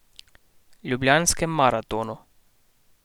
Ljubljanskem maratonu.